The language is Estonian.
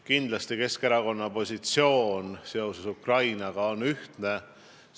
Kindlasti on Keskerakonna positsioon seoses Ukrainaga ühtne.